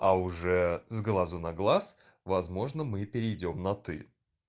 а уже с глазу на глаз возможно мы перейдём на ты